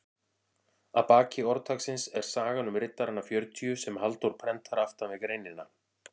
Að baki orðtaksins er sagan um riddarana fjörutíu sem Halldór prentar aftan við greinina.